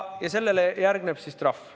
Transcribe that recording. Ja sellele järgneb trahv.